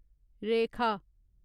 रेखा